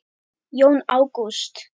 Jón Ágúst.